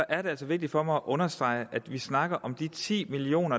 er det altså vigtigt for mig at understrege at vi snakker om de ti million